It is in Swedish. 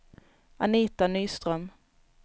Anita Nyström